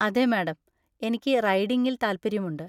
അതെ, മാഡം; എനിക്ക് റൈഡിംഗിൽ താൽപ്പര്യമുണ്ട്.